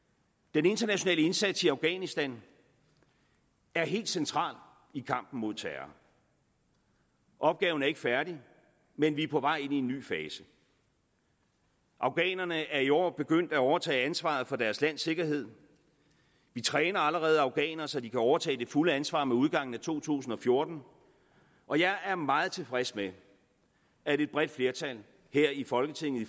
den internationale indsats i afghanistan er helt central i kampen mod terror opgaven er ikke færdig men vi er på vej ind i en ny fase afghanerne er i år begyndt at overtage ansvaret for deres lands sikkerhed vi træner allerede afghanere så de kan overtage det fulde ansvar med udgangen af to tusind og fjorten og jeg er meget tilfreds med at et bredt flertal her i folketinget i